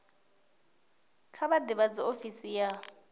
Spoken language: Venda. kha vha ḓivhadze ofisi ya